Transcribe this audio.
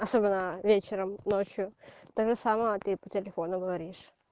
особенно вечером ночью также само ты по телефону говоришь